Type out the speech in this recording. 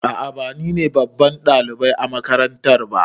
A'a ba nine babban ɗalibai a makarantara ba.